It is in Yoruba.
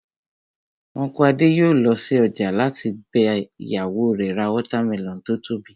Unku Adé yòó lọ sí ọjà láti bá ìyàwó rẹ̀ ra watermelon tó tóbi